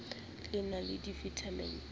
le na le vitamin d